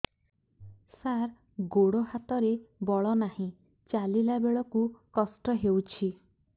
ସାର ଗୋଡୋ ହାତରେ ବଳ ନାହିଁ ଚାଲିଲା ବେଳକୁ କଷ୍ଟ ହେଉଛି